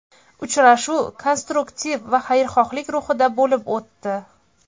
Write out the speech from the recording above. Uchrashuv konstruktiv va xayrixohlik ruhida bo‘lib o‘tdi.